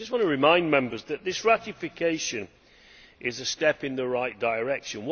I just want to remind Members that this ratification is a step in the right direction.